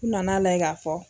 U nana layɛ ka fɔ.